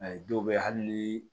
Ayi dɔw bɛ hali ni